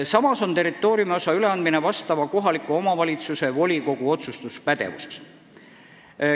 Samas on territooriumiosa üleandmine kohaliku omavalitsuse volikogu otsustuspädevuses.